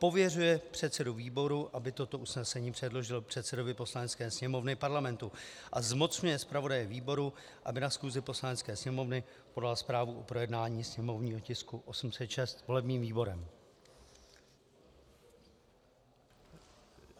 Pověřuje předsedu výboru, aby toto usnesení předložil předsedovi Poslanecké sněmovny Parlamentu, a zmocňuje zpravodaje výboru, aby na schůzi Poslanecké sněmovny podal zprávu o projednání sněmovního tisku 806 volebním výborem.